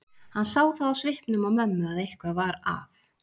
Hann sá það á svipnum á mömmu að eitthvað var að.